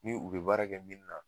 Ni u be baara kɛ mini na